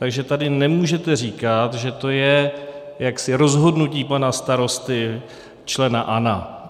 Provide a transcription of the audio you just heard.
Takže tady nemůžete říkat, že to je jaksi rozhodnutí pana starosty, člena ANO.